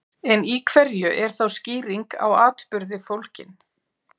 En í hverju er þá skýring á atburði fólgin?